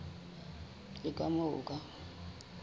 le ka moo o ka